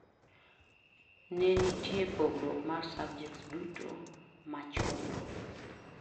Nenitie pogruok mar subjects duto machuno